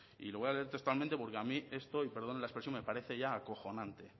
y lo voy a leer textualmente porque a mí esto y perdonen la expresión me parece ya acojonante